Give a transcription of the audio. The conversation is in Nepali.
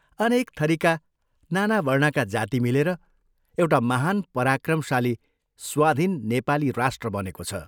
अनेक थरीका, नाना वर्णका जाति मिलेर एउटा महान् पराक्रमशाली स्वाधीन ' नेपाली राष्ट्र ' बनेको छ।